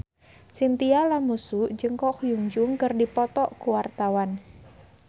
Chintya Lamusu jeung Ko Hyun Jung keur dipoto ku wartawan